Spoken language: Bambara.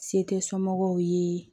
Se tɛ somɔgɔw ye